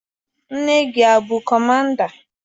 Nne gị abụ kọmanda?